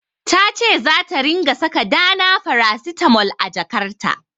Ta ce zata ringa saka Dana farasitamol a jakarta.